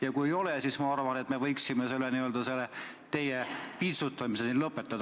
Ja kui ei ole, siis ma arvan, et me võiksime teie vintsutamise siin lõpetada.